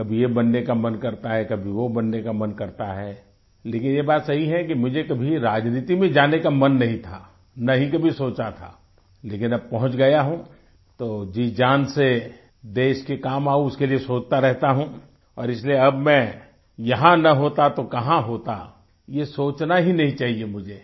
कभी ये बनने का मन करता है कभी वो बनने का मन करता है लेकिन ये बात सही है कि मुझे कभी राजनीति में जाने का मन नहीं था न ही कभी सोचा था लेकिन अब पहुँच गया हूँ तो जीजान से देश के काम आऊँ उसके लिए सोचता रहता हूँ और इसलिए अब मैं यहाँ न होता तो कहाँ होता ये सोचना ही नहीं चाहिए मुझे